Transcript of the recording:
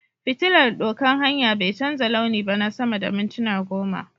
fitillar doƙan hanya bai canza launi ba na sama da mintuna goma.